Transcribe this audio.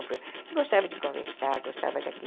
Ele gostava de conversar, gostava daqui.